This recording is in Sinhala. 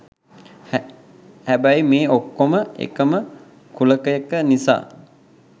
හැබැයි මේ ඔක්කොම එකම කුලකයක නිසා